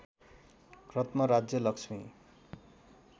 रत्न राज्य लक्ष्मी